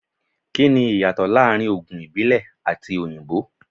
Kí ni ìyàtọ̀ láàrin Ògùn ìbílẹ̀ àti ti òyìnbó?